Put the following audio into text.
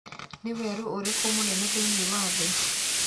Nĩ werũ ũrĩkũ mũnene thĩinĩ wa thĩ?